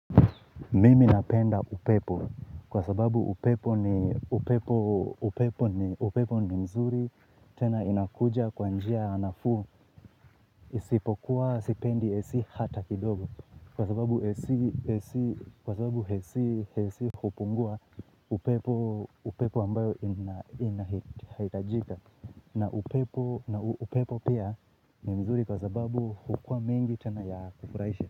Mimi napenda upepo kwa sababu upepo ni upepo upepo ni upepo ni mzuri tena inakuja kwa njia ya nafuu isipokuwa sipendi AC hata kidogo kwa sababu AC AC hupungua upepo upepo ambayo inahitajika na upepo na upepo pia ni mzuri kwa sababu hukua mengi tena ya kufurahisha.